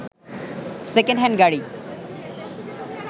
second hand গাড়ি